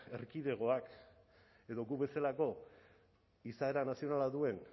erkidegoak edo gu bezalako izaera nazionala duen